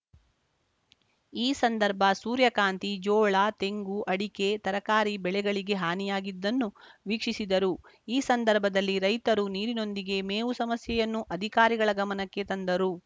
ಈ ಸಂದರ್ಭ ಸೂರ್ಯಕಾಂತಿ ಜೋಳ ತೆಂಗು ಅಡಿಕೆ ತರಕಾರಿ ಬೆಳೆಗಳಿಗೆ ಹಾನಿಯಾಗಿದ್ದನ್ನು ವೀಕ್ಷಿಸಿದರು ಈ ಸಂದರ್ಭದಲ್ಲಿ ರೈತರು ನೀರಿನೊಂದಿಗೆ ಮೇವು ಸಮಸ್ಯೆಯನ್ನೂ ಅಧಿಕಾರಿಗಳ ಗಮನಕ್ಕೆ ತಂದರು